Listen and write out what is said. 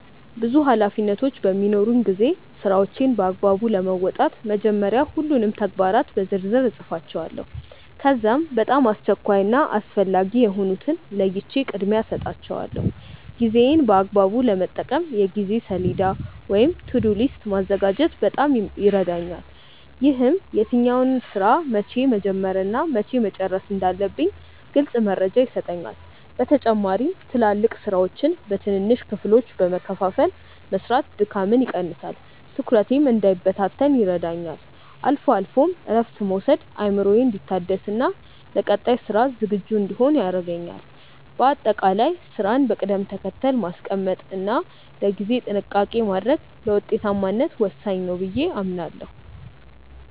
ብዙ ኃላፊነቶች በሚኖሩኝ ጊዜ ስራዎቼን በአግባቡ ለመወጣት መጀመሪያ ሁሉንም ተግባራት በዝርዝር እጽፋቸዋለሁ። ከዚያም በጣም አስቸኳይ እና አስፈላጊ የሆኑትን ለይቼ ቅድሚያ እሰጣቸዋለሁ። ጊዜዬን በአግባቡ ለመጠቀም የጊዜ ሰሌዳ ወይም "To-do list" ማዘጋጀት በጣም ይረዳኛል። ይህም የትኛውን ስራ መቼ መጀመር እና መቼ መጨረስ እንዳለብኝ ግልጽ መረጃ ይሰጠኛል። በተጨማሪም ትላልቅ ስራዎችን በትንንሽ ክፍሎች በመከፋፈል መስራት ድካምን ይቀንሳል፤ ትኩረቴም እንዳይበታተን ይረዳኛል። አልፎ አልፎም እረፍት መውሰድ አእምሮዬ እንዲታደስና ለቀጣይ ስራ ዝግጁ እንድሆን ያደርገኛል። በአጠቃላይ ስራን በቅደም ተከተል ማስቀመጥ እና ለጊዜ ጥንቃቄ ማድረግ ለውጤታማነት ወሳኝ ነው ብዬ አምናለሁ።